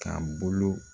Ka bolo